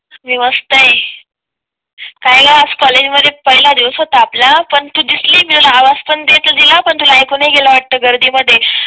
मी मस्त आहे, काय ग आज कॉलेज मध्ये पहिला दिवस होत आपलं पण तू दिसली मी तुला आवाज पण दिल पण तुला ऐकू नाही गेलं वाटते गर्दीमध्ये.